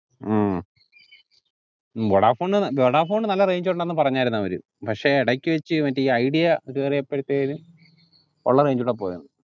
ഉം ഉം വൊഡാഫോണ് ന നല്ല range ഉണ്ടെന്ന് പറഞ്ഞാർന്നു അവർ പക്ഷെ എടക്ക് വെച് മറ്റേ ഈ ഐഡിയ കേറിയപ്പതേനും ഉള്ള range ഉടെ പോയ്